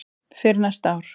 fyrir næsta ár.